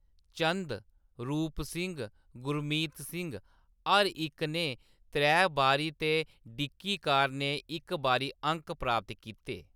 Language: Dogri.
चंद, रूप सिंह, गुरमीत सिंह, हर इक ने त्रै बारी ते डिकी कार ने इक बारी अंक प्राप्त कीते।